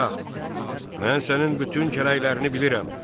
Padşah, mən sənin bütün kələklərini bilirəm.